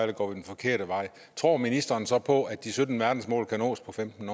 vi går den forkerte vej tror ministeren så på at de sytten verdensmål kan nås på femten